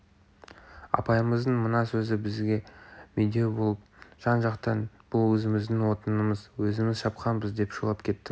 апайымыздың мына сөзі бізге медеу болып жан-жақтан бұл өзіміздің отынымыз өзіміз шапқанбыз деп шулап кеттік